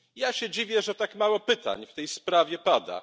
Ja się dziwię, że tak mało pytań w tej sprawie pada.